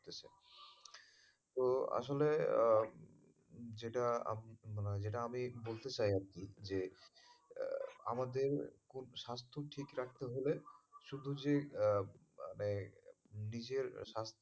তো আসলে যেটা আপনি মানে যেটা আমি বলতে চাই আরকি যে আমাদের খুব স্বাস্থ্য ঠিক রাখতে হলে শুধু যে মানে নিজের স্বাস্থ্যের,